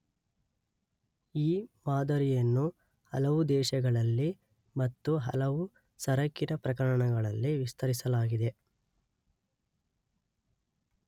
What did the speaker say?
ಈ ಮಾದರಿಯನ್ನು ಹಲವು, ದೇಶಗಳಲ್ಲಿ ಮತ್ತು ಹಲವು, ಸರಕಿನ ಪ್ರಕರಣಗಳಲ್ಲಿ ವಿಸ್ತರಿಸಲಾಗಿದೆ.